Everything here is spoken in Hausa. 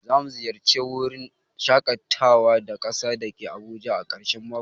Zamu ziyarce wurin shakatawa na kasa dake Abuja ã karshen mako.